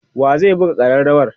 wa zai buga karrawar?